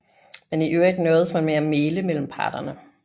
Men i øvrigt nøjedes man med at mægle mellem parterne